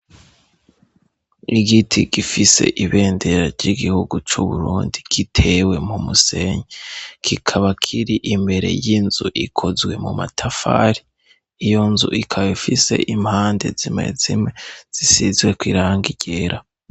Igiti gifise ibendera ry'igihugu c' Uburundi kitewe mu musenyi, kikaba kiri imbere y'inzu ikozwe mu matafari. Iyo nzu ikaba ifise impande zimwe zimwe zisizweko irangi ryera.